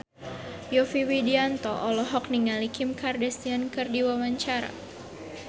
Yovie Widianto olohok ningali Kim Kardashian keur diwawancara